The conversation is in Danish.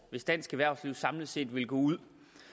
hvis dansk erhvervsliv samlet set ville gå ud